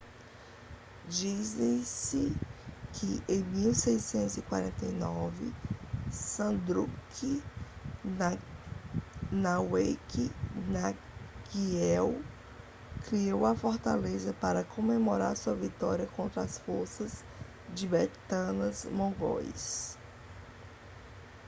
diz-se que em 1649 zhabdrung ngawang namgyel criou a fortaleza para comemorar sua vitória contra as forças tibetanas-mongóis